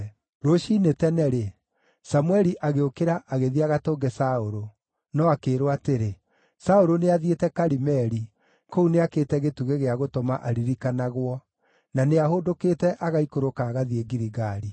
Rũciinĩ tene-rĩ, Samũeli agĩũkĩra agĩthiĩ agatũnge Saũlũ, no akĩĩrwo atĩrĩ, “Saũlũ nĩathiĩte Karimeli. Kũu nĩakĩte gĩtugĩ gĩa gũtũma aririkanagwo, na nĩahũndũkĩte agaikũrũka agathiĩ Giligali.”